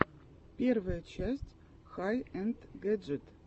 первая часть хай энд гэджит